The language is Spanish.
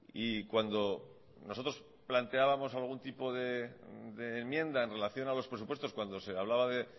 y cuando nosotros planteábamos algún tipo de enmienda en relación a los presupuestos cuando se hablaba de